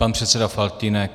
Pan předseda Faltýnek.